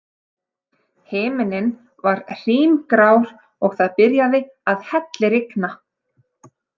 Himinninn var hrímgrár og það byrjaði að hellirigna.